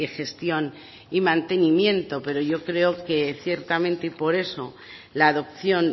gestión y mantenimiento pero yo creo que ciertamente y por eso la adopción